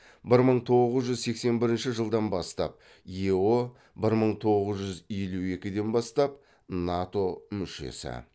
бір мың тоғыз жүз сексен бірінші жылдан бастап ео бір мың тоғыз жүз елу екіден бастап нато мүшесі